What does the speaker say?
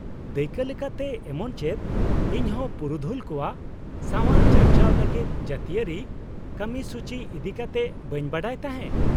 -ᱫᱟᱹᱭᱠᱟᱹ ᱞᱮᱠᱟᱛᱮ, ᱮᱢᱚᱱᱪᱮᱫ ᱤᱧᱦᱚᱸ ᱯᱩᱨᱩᱫᱷᱩᱞ ᱠᱚᱣᱟᱜ ᱥᱟᱣᱟᱨ ᱪᱟᱨᱪᱟᱣ ᱞᱟᱹᱜᱤᱫ ᱡᱟᱹᱛᱤᱣᱟᱹᱨᱤ ᱠᱟᱹᱢᱤᱥᱩᱪᱤ ᱤᱫᱤᱠᱟᱛᱮ ᱵᱟᱹᱧ ᱵᱟᱰᱟᱭ ᱛᱟᱦᱮᱸ ᱾